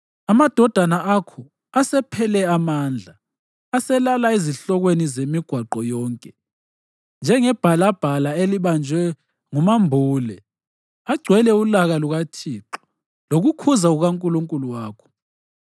Amadodana akho asephele amandla, aselala ezihlokweni zemigwaqo yonke njengebhalabhala elibanjwe ngumambule. Agcwele ulaka lukaThixo lokukhuza kukaNkulunkulu wakho.